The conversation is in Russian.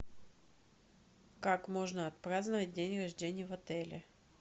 как можно отпраздновать день рождения в отеле